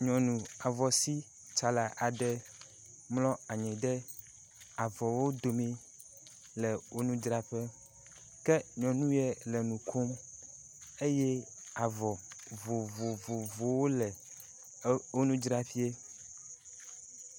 Nyɔnu avɔsitsala aɖe mlɔ anyi ɖe avɔwo domi le wò nudzraƒe, ke nyɔnu yɛ le nu kom eye avɔ vovovovowo le wò nudzraƒeɛ.